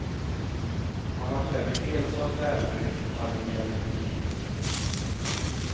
Han var klädd i helsvart läderdräkt och hade en hjälm på huvudet.